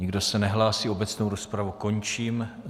Nikdo se nehlásí, obecnou rozpravu končím.